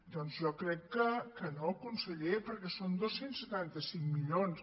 doncs jo crec que no conseller perquè són dos cents i setanta cinc milions